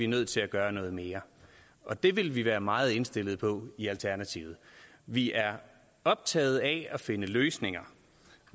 nødt til at gøre noget mere og det vil vi være meget indstillet på i alternativet vi er optaget af at finde løsninger